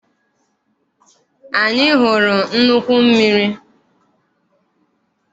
Anyị hụrụ nnukwu mmiri.